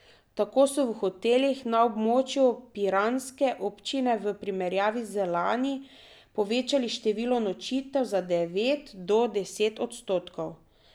Tako so v hotelih na območju piranske občine v primerjavi z lani povečali število nočitev za devet do deset odstotkov.